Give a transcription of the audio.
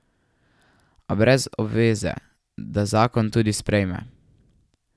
A brez obveze, da zakon tudi sprejme.